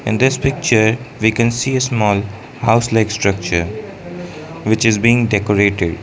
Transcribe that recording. in this picture we can see a small house like structure which is being decorated.